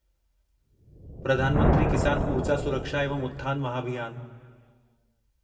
Pradhan Mantri Kisan Urja Suraksha evam Utthan Mahabhiyan